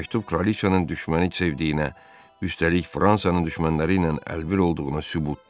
Bu məktub Kraliçanın düşməni sevdiyinə, üstəlik Fransanın düşmənləri ilə əlbir olduğuna sübutdur.